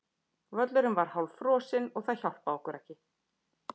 Völlurinn var hálffrosinn og það hjálpaði okkur ekki.